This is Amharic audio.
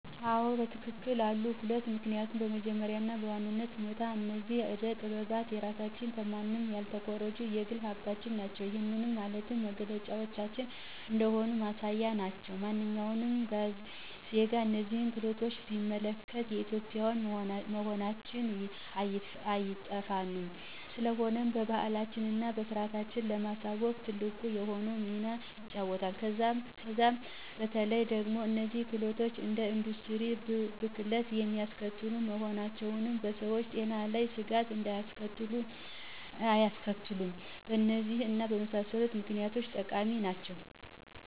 1, አዎ በትክክል አሉ፤ 2, ምክኒያቱም በመጀመሪያ እና በዋናነት ሁኔታ እነዚህ አደ ጠጥባት የራሳችን ከማንም ያልተኮረጁ የግል ሀብቶቻችን ናቸው። ይህም ማለት መገለጫዎቻችን እንደሆኑ ማሳያዎች ናቸው። ማንኛውም ዜጋ እነዚህን ክህሎቶች ቢመለከት የኢትዮጵዊያን መሆናቸው አይጠፋውም፤ ስለሆነም ባህላችንን እና ስርዓታችንን ለማስተዋወቅ ትልቅ የሆነውን ሚና ይጫወታሉ። ከዛም በተለዬ ደግሞ እነዚህ ክህሎቶች እንደ ኢንዱስትሪ ብክለትን የማያስከትሉ በመሆናቸው በሰዎች ጤና ላይ ስጋት አያስከትሉም። በእነዚህ እና በመሳሰሉት ምክኒያቶች ጠቃሚ ናቸው።